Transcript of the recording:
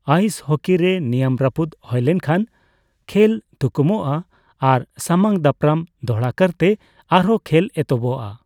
Ice ᱦᱚᱠᱤ ᱨᱮ ᱱᱤᱭᱚᱢ ᱨᱟᱹᱯᱩᱫ ᱦᱳᱭ ᱞᱮᱱᱠᱷᱟᱱ ᱠᱷᱮᱞ ᱛᱷᱩᱠᱩᱢᱚᱜᱼᱟ ᱟᱨ ᱥᱟᱢᱟᱝ ᱫᱟᱯᱨᱟᱢ ᱫᱚᱦᱲᱟᱠᱟᱨᱛᱮ ᱟᱨᱦᱚᱸ ᱠᱷᱮᱹᱞ ᱮᱛᱦᱚᱵᱚᱜᱼᱟ ᱾